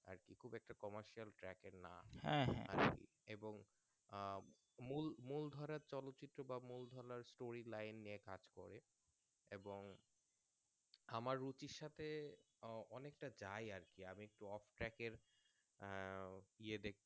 আহ মূল মূল ধারার চল চিত্র বা মূল ধরার Story line নিয়ে কাজ করে এবং আমার রুচির সাথে অঅনেকটা যাই আরকি আমি একটু Off track এর আহ ইয়ে দেখতে